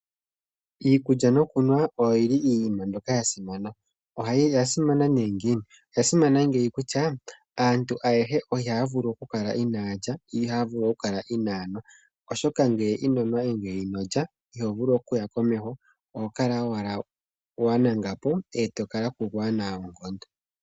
Iikulya no kunwa oyili iinima mbyoka ya simana. Oya simana nee ngiini? Oya simana ngeyi kutya aantu ayehe ihaya vulu oku kala inaa yalya, yo ihaya vulu oku kala inaa yanwa. Oshoka ngele inonwa nenge inolya ito vulu okuya komeho oho kala owala wa nanga po e to kala po kuuna oonkondo.